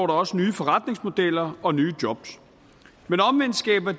der også nye forretningsmodeller og nye job omvendt skaber